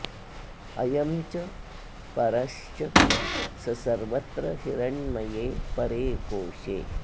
अयं च परश्च स सर्वत्र हिरण्मये परे कोशे